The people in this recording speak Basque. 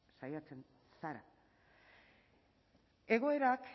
saiatzen zara egoerak